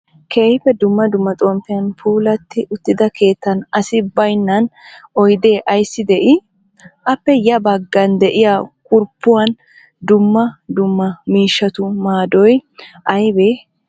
Keehippe dumma dumma xomppiyan puulatti uttida keettan asi bayinna oyidee ayissi de'ii? Appe ya baggan de'iyaa kurppuwaan dumma dumma miishatu maadoy ayibee?